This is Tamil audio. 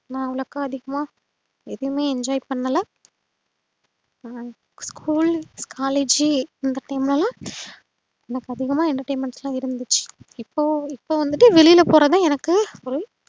நா அவ்ளோக்க அதிகமா எதுமே enjoy பண்ணல school collage அந்த time லலாம் எனக்கு அதிகமா entertainment லா இருந்திச்சு இப்போ இப்போ வந்துட்டு வெளில போறதுத எனக்கு ஒரே